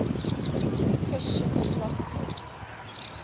christian philosophers